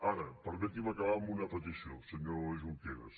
ara permeti’m acabar amb una petició senyor junqueras